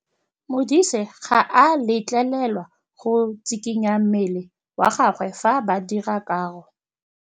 Modise ga a letlelelwa go tshikinya mmele wa gagwe fa ba dira karô.